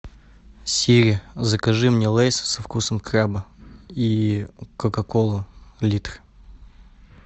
сири закажи мне лейс со вкусом краба и кока колу литр